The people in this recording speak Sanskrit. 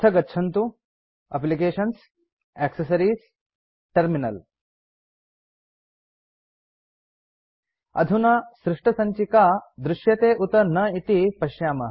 अथ गच्छन्तु एप्लिकेशन्ग्टैक्सेस अधुना सृष्टसञ्चिका दृश्यते उत न इति पश्यामः